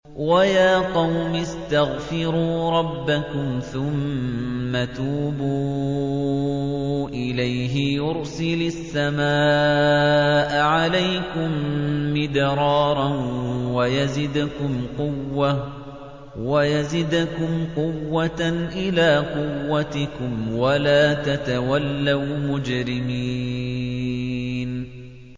وَيَا قَوْمِ اسْتَغْفِرُوا رَبَّكُمْ ثُمَّ تُوبُوا إِلَيْهِ يُرْسِلِ السَّمَاءَ عَلَيْكُم مِّدْرَارًا وَيَزِدْكُمْ قُوَّةً إِلَىٰ قُوَّتِكُمْ وَلَا تَتَوَلَّوْا مُجْرِمِينَ